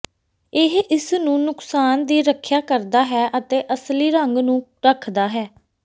ਇਹ ਇਸ ਨੂੰ ਨੁਕਸਾਨ ਦੀ ਰੱਖਿਆ ਕਰਦਾ ਹੈ ਅਤੇ ਅਸਲੀ ਰੰਗ ਨੂੰ ਰੱਖਦਾ ਹੈ